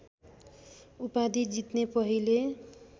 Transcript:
उपाधि जित्ने पहिले